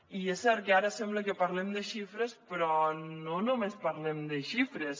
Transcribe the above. i és cert que ara sembla que parlem de xifres però no només parlem de xifres